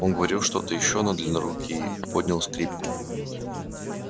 он говорил что то ещё но длиннорукий поднял скрипку